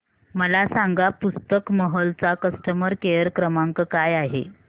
मला सांगा पुस्तक महल चा कस्टमर केअर क्रमांक काय आहे